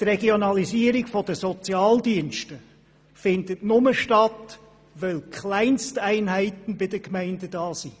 Die Regionalisierung der Sozialdienste findet nur statt, weil bei den Gemeinden Kleinsteinheiten vorhanden sind.